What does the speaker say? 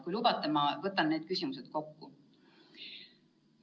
Kui lubate, ma võtan need küsimused kokku.